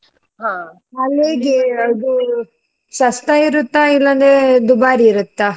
ಹಾ. ಇದು सस्ता ಇರುತ್ತಾ ಇಲ್ಲಂದ್ರೆ ದುಬಾರಿ ಇರುತ್ತಾ?